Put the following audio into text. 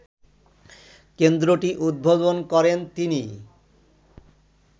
কেন্দ্রটি উদ্বোধন করেন তিনি